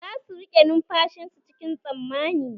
Za su rike numfashin su cikin tsammani